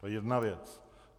To je jedna věc.